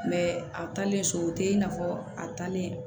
a talen so o tɛ i n'a fɔ a taalen